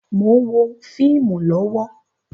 Mo ń wo fíìmù lọ́wọ́